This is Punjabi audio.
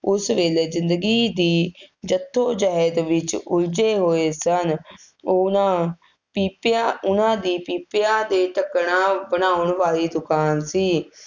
ਉਸ ਵੇਲੇ ਜ਼ਿੰਦਗੀ ਦੀ ਜੱਦੋ ਜਹਿਦ ਵਿੱਚ ਉਲਝੇ ਹੋਏ ਸਨ, ਉਹਨਾ ਪੀਪਿਆਂ, ਉਹਨਾ ਦੀ ਪੀਪਿਆ ਦੇ ਢੱਕਣਾਂ ਬਣਾਉਣ ਵਾਲੀ ਦੁਕਾਨ ਸੀ,